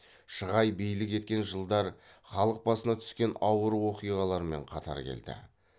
шығай билік еткен жылдар халық басына түскен ауыр оқиғалармен қатар келді